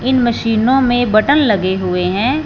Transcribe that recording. इन मशीनों में बटन लगे हुए हैं।